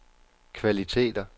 kvaliteter